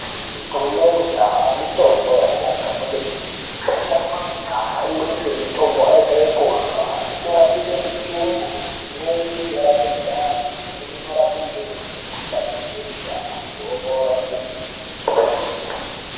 Mitombo yekudhaya mitombo yakanaka kwemene. Mitombo yekudhaya imweni mitombo inoite yekurya. Inorapire mitumbu, imweni inorape ndani. Imweni inorape ndumure, mikuhlane yebesha, antu opora kwemene.